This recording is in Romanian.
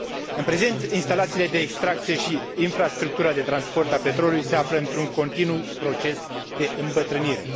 În prezent, instalațiile de extracție și infrastructura de transport a petrolului se află într un continuu proces de îmbătrânire.